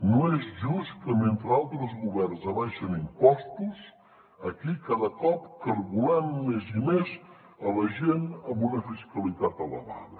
no és just que mentre altres governs abaixen impostos aquí cada cop collem més i més la gent amb una fiscalitat elevada